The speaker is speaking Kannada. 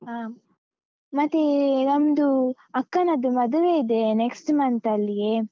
ಅಹ್ ಮತ್ತೆ ನಂದು ಅಕ್ಕನದ್ದು ಮದುವೆ ಇದೆ next month ಅಲ್ಲಿಯೇ.